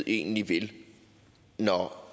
egentlig vil når